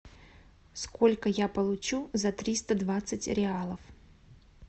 сколько я получу за триста двадцать реалов